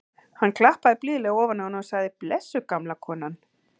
Hann klappaði blíðlega ofan á hana og sagði: blessuð gamla konan.